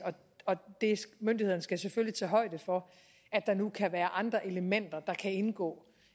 og myndighederne skal selvfølgelig tage højde for at der nu kan være andre elementer der kan indgå